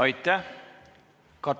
Aitäh!